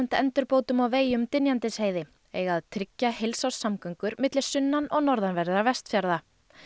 endurbótum á vegi um Dynjandisheiði eiga að tryggja heilsárssamgöngur milli sunnan og norðanverðra Vestfjarða